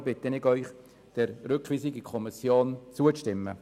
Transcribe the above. Ich bitte Sie deshalb, der Rückweisung in die Kommission zuzustimmen.